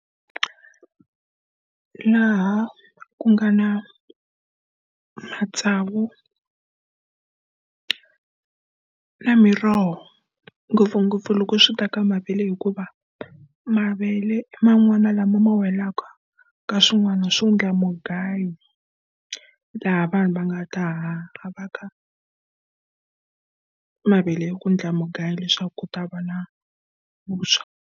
Laha ku nga na matsavu na miroho ngopfungopfu loko swi ta ka mavele hikuva, mavele i man'wana lama ma welaka ka swin'wana swo endla mugayo. Laha vanhu va nga ta mavele ya ku endla mugayo leswaku ku ta va na vuswa.